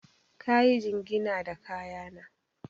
Ka yi jingina da kaya na.